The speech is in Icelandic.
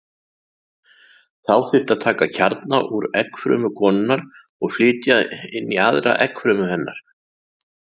Þá þyrfti að taka kjarna úr eggfrumu konunnar og flytja inn í aðra eggfrumu hennar.